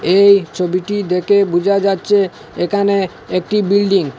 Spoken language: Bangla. এই ছবিটি দেখে বোঝা যাচ্ছে এখানে একটি বিল্ডিং ।